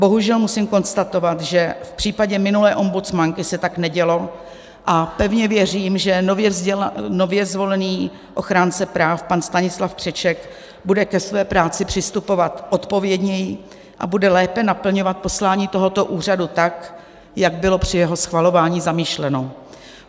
Bohužel musím konstatovat, že v případě minulé ombudsmanky se tak nedělo, a pevně věřím, že nově zvolený ochránce práv pan Stanislav Křeček bude ke své práci přistupovat odpovědněji a bude lépe naplňovat poslání tohoto úřadu, tak jak bylo při jeho schvalování zamýšleno.